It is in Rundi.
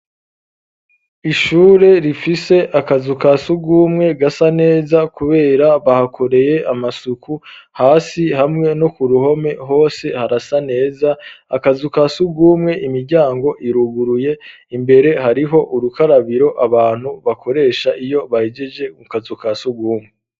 Ishure rifise akazu ka sugumwe gasa neza, kubera bahakoreye amasuku hasi hamwe no ku ruhome hose harasa neza akazu ka sugumwe imiryango iruguruye imbere hariho urukarabiro abantu bakoresha iyo bahijeje mu kazu ka sugwumwe.